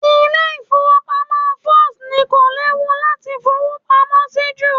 Ilé ìfowópamọ́ First ni kò léwu láti fowó pamọ́ sí jù